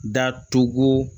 Datugu